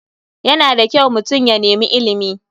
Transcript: Yana da kyau mutum ya nemi ilimi.